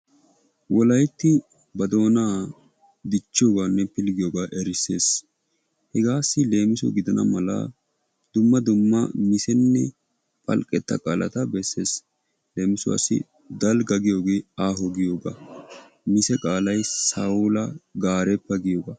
Wolaytti ba doona dichchidi diyooga medhdhidi diyooge erissees. Hegassi leemisso gidana mala dumma dumma misenne phalqqeta qaala bessees. Leemissuwassi dalgga giyooge aaho giyooga mise qaalay sawulla garebba giyooga.